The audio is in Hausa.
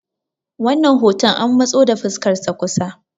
wannan hoton an matso da fuskarsa kusa